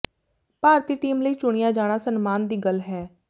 ਭਾਰਤੀ team ਲਈ ਚੁਣਿਆ ਜਾਣਾ ਸਨਮਾਨ ਦੀ ਗੱਲ ਹੈ